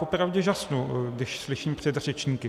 Popravdě žasnu, když slyším předřečníky.